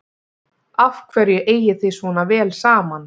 Af hverju eigið þið svona vel saman?